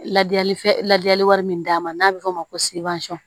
Ladili ladili wari min d'a ma n'a bɛ fɔ o ma ko